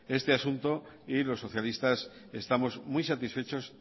este asunto y los socialistas estamos muy satisfechos